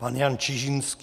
Pan Jan Čižinský.